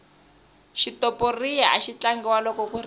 xitoporiya axi tlangiwa loko ku risiwa